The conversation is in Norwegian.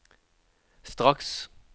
straks